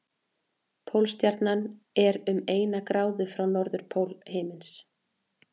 Pólstjarnan er um eina gráðu frá norðurpól himins.